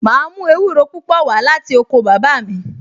Màá mú ewúro púpò wá láti oko bàbá mi